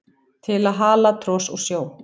til að hala tros úr sjó